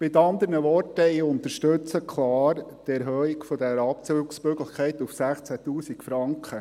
Mit anderen Worten: Ich unterstütze klar die Erhöhung dieser Abzugsmöglichkeit auf 16 000 Franken.